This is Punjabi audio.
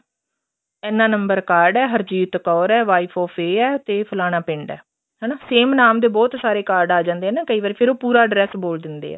ਇੰਨਾ ਨੰਬਰ card ਏ ਹਰਜੀਤ ਕੌਰ ਏ wife of ਇਹ ਏ ਤੇ ਫਲਾਣਾ ਪਿੰਡ ਏ ਹਨਾ same ਨਾਮ ਦੇ ਬਹੁਤ ਸਾਰੇ card ਆ ਜਾਂਦੇ ਆ ਕਈ ਵਾਰੀ ਫ਼ੇਰ ਉਹ ਪੂਰਾ address ਬੋਲ ਦਿੰਦੇ ਆ